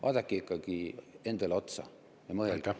Vaadake ikkagi endale otsa ja mõelge …